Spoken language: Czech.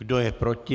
Kdo je proti?